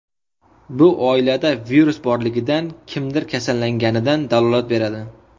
Bu oilada virus borligidan, kimdir kasallanganidan dalolat beradi.